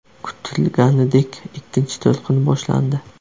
Kutilganidek ikkinchi to‘lqin boshlandi.